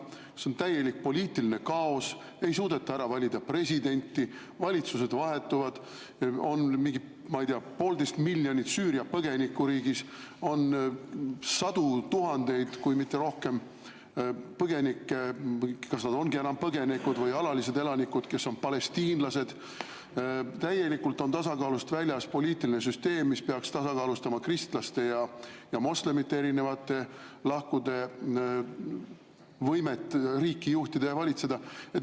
Seal on täielik poliitiline kaos, ei suudeta ära valida presidenti, valitsused vahetuvad, riigis on mingi, ma ei tea, poolteist miljonit Süüria põgenikku, on sadu tuhandeid, kui mitte rohkem, põgenikke – kas nad ongi enam põgenikud või on alalised elanikud, kes on palestiinlased –, täielikult on tasakaalust väljas poliitiline süsteem, mis peaks tasakaalustama kristlaste ja moslemite erinevate lahkude võimet riiki juhtida ja valitseda.